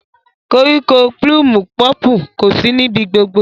Koríko plumu pọpu kosi nibi gbogbo.